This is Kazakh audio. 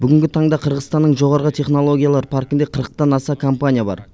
бүгінгі таңда қырғызстанның жоғары технологиялар паркінде қырықтан аса компания бар